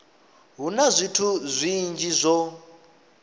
hu na zwithu zwinzhi zwo